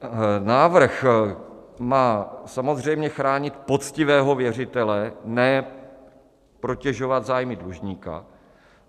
Návrh má samozřejmě chránit poctivého věřitele, ne protežovat zájmy dlužníka.